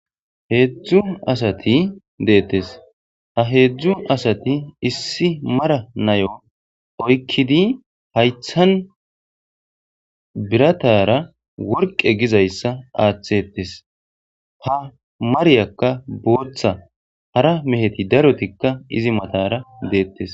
Hezu asati detes ha hezu asati issi mara na'iu oyikidi hayithan biratara woriqe gizayisa athetes ha mariyaka botha hara mehiti daroti izi matara detes